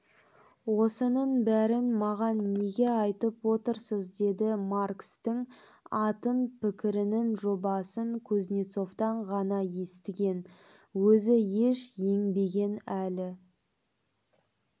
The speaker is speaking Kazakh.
осының бәрін маған неге айтып отырсыз деді маркстің атын пікірінің жобасын кузнецовтан ғана естіген өзі еш еңбегін әлі